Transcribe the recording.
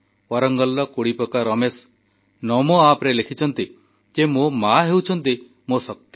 ୱାରଙ୍ଗଲ କୋଡିପକା ରମେଶ୍ ନମୋ ଆପରେ ଲେଖିଛନ୍ତି ଯେ ମୋ ମା ହେଉଛନ୍ତି ମୋ ଶକ୍ତି